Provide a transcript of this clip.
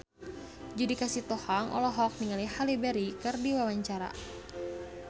Judika Sitohang olohok ningali Halle Berry keur diwawancara